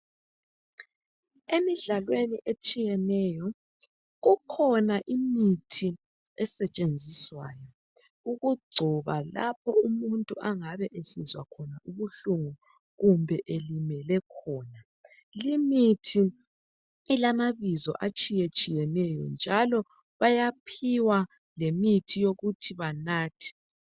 Emidlalweni etshiyeneyo kukhona imithi esetshenziswayo ukugcoba lapho umuntu angabe esizwa ubuhlungu kumbe elimele khona. Limithi ilamabizo atshiyetshiyeneyo, njalo bayaphiwa lemithi yokuthi banathe.